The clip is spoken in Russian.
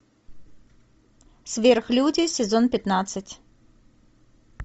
сверхлюди сезон пятнадцать